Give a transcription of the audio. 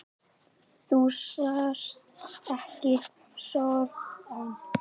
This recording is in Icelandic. Þú sást ekki sorann.